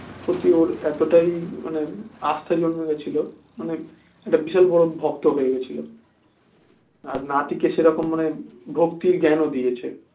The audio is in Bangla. ও তুই ওর এতটাই মানে আস্থা জন্মে গেছিলো মানে একটা বিশাল বড় ভক্ত হয়ে গেছিলো আর নাতিকে সেরকম মানে ভক্তির জ্ঞান ও দিয়েছে